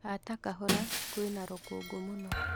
Hata kahora kwĩna rũkũngũ mũno